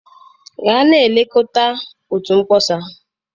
Gaa na-elekọta otu mkpọsa.